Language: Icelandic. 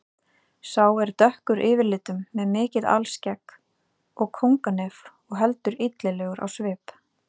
Sá er dökkur yfirlitum með mikið alskegg og kónganef og heldur illilegur á svip.